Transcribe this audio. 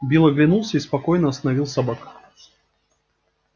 билл оглянулся и спокойно остановил собак